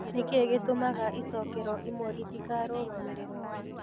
Nĩ kĩĩ gĩtũmaga icookero imwe itikarũgamĩrĩrwo?